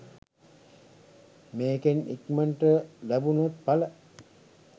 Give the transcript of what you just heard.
මේකෙත් ඉක්මනට ලැබුනොත් එල.